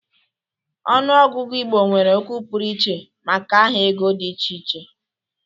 Ọnụ ọgụgụ Igbo nwere okwu pụrụiche maka aha ego dị iche iche.